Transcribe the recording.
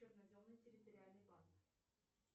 черноземный территориальный банк